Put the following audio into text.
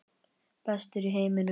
Bestur í heiminum.